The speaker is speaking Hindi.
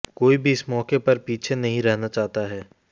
कोई भी इस मौके पर पीछे नहीं रहना चाहता है